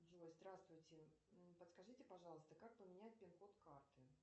джой здравствуйте подскажите пожалуйста как поменять пин код карты